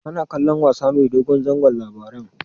Kana kallon wasa mai dogon zango Labaran?